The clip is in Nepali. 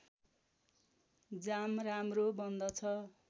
जाम राम्रो बन्दछ